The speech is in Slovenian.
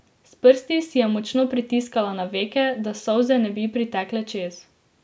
S prsti si je močno pritisnila na veke, da solze ne bi pritekle čez.